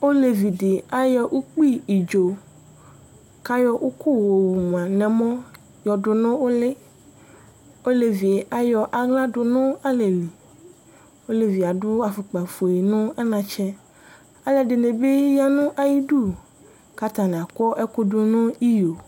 Olevi dɩ ayɔ ʋkpɩ ɩdzo kʋ ayɔ ʋkʋ yɔwʋma nʋ ɛmɔ yɔdʋnʋ ʋlɩ. Olevi yɛ ayɔ aɣla dʋnʋ alɛlɩ, olevi adʋ afʋkpafue nʋ anatsɛ. Alʋɛdɩnɩ bi yanʋ ayʋ idʋ kʋ atanɩ akɔ ɛkʋ dʋnʋ iyo.